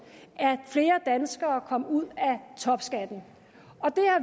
at flere danskere kom ud af topskatten og